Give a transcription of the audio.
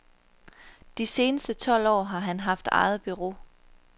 De seneste tolv år har han haft eget bureau.